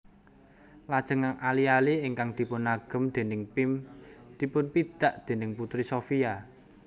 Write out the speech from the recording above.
Lajeng ali ali ingkang dipunagem déning Pim dipunpidak déning Putri Sophia